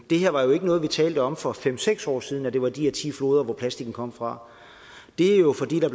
her var jo ikke noget vi talte om for fem seks år siden altså at det var de her ti floder plastikken kom fra det er jo fordi der